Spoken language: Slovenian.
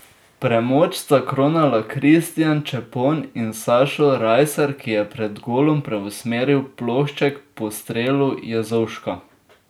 Premoč sta kronala Kristijan Čepon in Sašo Rajsar, ki je pred golom preusmeril plošček po strelu Jezovška.